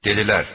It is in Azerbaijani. Dedilər: